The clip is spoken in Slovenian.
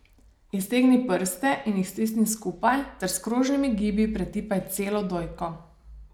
Iztegni prste in jih stisni skupaj ter s krožnimi gibi pretipaj celo dojko.